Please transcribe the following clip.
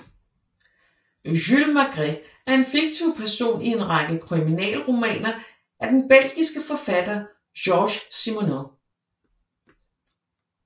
Jules Maigret er en fiktiv person i en række kriminalromaner af den belgiske forfatter Georges Simenon